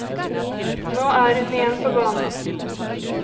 Nå er hun igjen på banen.